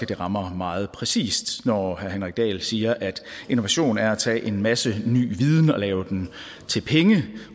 det rammer meget præcist når herre henrik dahl siger at innovation er at tage en masse ny viden og lave den til penge